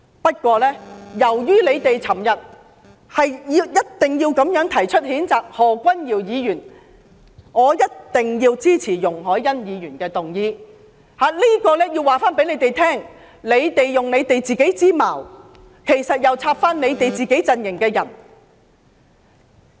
不過，由於他們昨天堅持要提出譴責何君堯議員議案，所以我也必定要支持容海恩議員動議的這項議案，目的是告訴他們，他們是用自己的矛插向自己陣型的人。